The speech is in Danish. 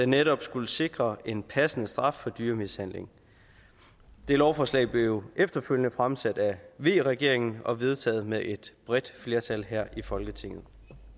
netop skulle sikre en passende straf for dyremishandling det lovforslag blev jo efterfølgende fremsat af v regeringen og vedtaget med et bredt flertal her i folketinget